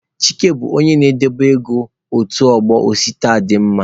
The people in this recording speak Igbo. Chike bụ onye ndobe ego otu ọgbọ Osita dị mma.